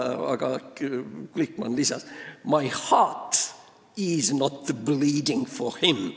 Ja Glikman lisas: "My heart is not bleeding for him.